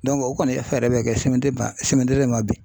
o kɔni e fɛɛrɛ bɛ kɛ CMDT ma bin.